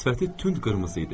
Sifəti tünd qırmızı idi.